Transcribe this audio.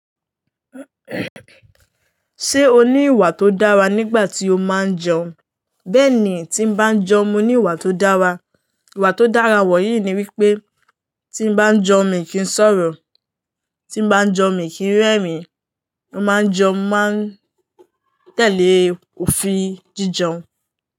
Ṣé o ní ìwà tó dára nígbà tí o máa ń jẹun? Bẹ́ẹ̀ni, tí mo bá ń jẹun, mo ní ìwà tó dára. Ìwà tó dára wọ̀nyí ni wípé tí n bá ń jẹun, mi kì í sọ̀rọ̀, tí n bá ń jẹun mi kì í rẹ́rìn-ín, mo máa ń jẹun, máa ń tẹ̀lé òfin jíjẹun.